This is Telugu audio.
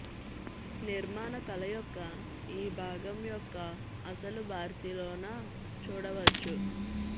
నిర్మాణ కళ యొక్క ఈ భాగం యొక్క అసలు బార్సిలోనా చూడవచ్చు